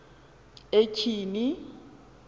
etyhini